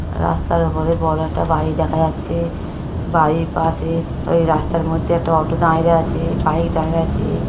রাস্তার উপরে বড়ো একটা বাড়ি দেখা যাচ্ছে | বাড়ির পাশে ওই রাস্তার মধ্যে একটা অটো দাঁড়িয়ে আছে | বাইক দাঁড়িয়ে আছে।